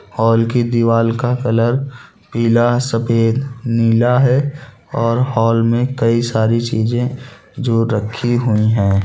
हाल की दीवाल का कलर पीला सफेद नीला है और हाल में कई सारी चीजे जो रखी हुई है।